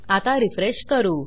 आता रिफ्रेश करू